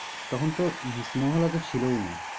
তখন তো cinema hall অত ছিল ও না।